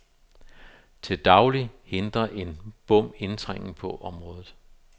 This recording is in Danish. Til daglig hindrer en bom indtrængen på området.